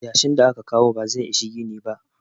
yashin da aka kawo ba zai Isa gini ba